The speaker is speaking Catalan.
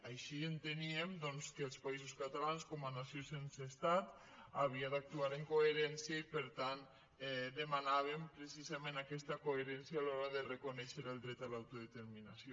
així enteníem doncs que els països catalans com a nació sense estat havia d’actuar amb coherència i per tant demanàvem pre·cisament aquesta coherència a l’hora de reconèixer el dret a l’autodeterminació